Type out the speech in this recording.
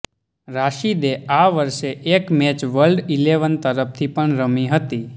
રાશિદે આ વર્ષે એક મેચ વર્લ્ડ ઈલેવન તરફથી પણ રમી હતી